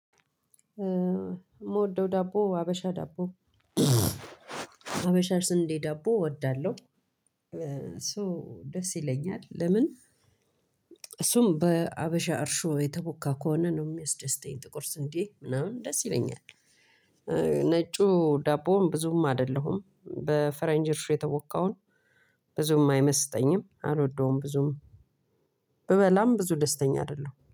የምወደው ዳቦ ሀበሻ ዳቦ ሀበሻ ስንዴ ዳቦ እወዳለሁ። ሶ ደስ ይለኛል ለምን? እሱም በሀበሻ እርሾ የተቦካ ከሆነ ነው የሚያስደስተኝ ጥቁር ስንዴ ምናምን ደስ ይለኛል። ነጩ ዳቦም ብዙም አይደለሁም በፈረንጅ እርሾ የተቦካውን ብዙም አይመስጠኝም አልወደውም ብዙም ብበላም ብዙ ደስተኛ አይደለሁም